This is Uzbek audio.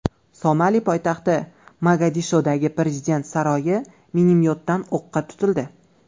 Somali poytaxti Mogadishodagi prezident saroyi minomyotdan o‘qqa tutildi.